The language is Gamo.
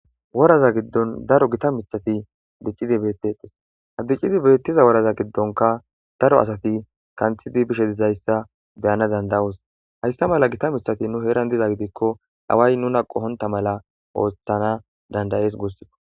Worraza giidon daaro gitta miththati diccidi bettetes ha diccishe bettiza woraza giddonka daaro asati kanththidi bishshe dizayssa be'anasi dandaos hayssa malla giitta miththati nu heeran diizayssa gidikko away nuna qohonta malla oththana danda'es gusukko.